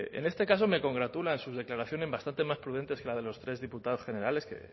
en este caso me congratulan sus declaraciones bastante más prudentes que las de los tres diputados generales que